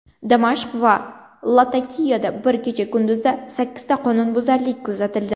Damashq va Latakiyada bir kecha-kunduzda sakkizta qonunbuzarlik kuzatildi.